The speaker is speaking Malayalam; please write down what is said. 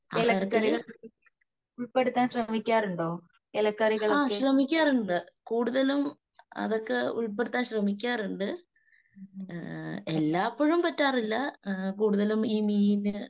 ആഹാരത്തില്. ആ ശ്രമിക്കാറുണ്ട്. കൂടുതലും അതൊക്കെ ഉൾപ്പെടുത്താൻ ശ്രമിക്കാറുണ്ട്. എല്ലാപ്പഴും പറ്റാറില്ല. കൂടുതലും ഈ മീന്